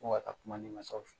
Ko ka taa kuma ne masaw fɛ.